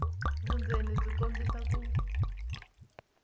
vundzeni byi kombisa ku